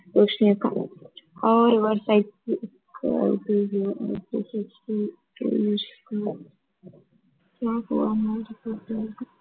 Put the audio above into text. ரோஷினி அக்கா